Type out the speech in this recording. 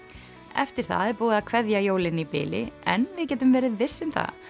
eftir það er búið að kveðja jólin í bili en við getum verið viss um